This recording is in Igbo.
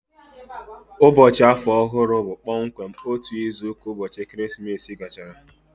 Ụbọchị Afọ Ọhụrụ bụ kpọmkwem otu izu ka ụbọchị ekeresimesi gachara